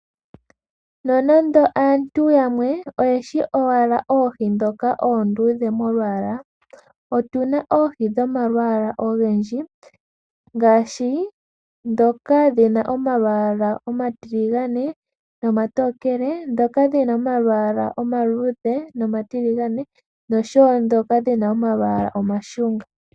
Nonando aantu yamwe oyeshi owala oohi ndhoka oondudhe molwaala, otuna oohi dhomalwaala ogendji. Ngaashi, ndhoka dhi na omalwaala omatiligane nomatokele, ndhoka dhina omalwaala omaluudhe, noshowo ndhoka dhina omalwaala omashunga.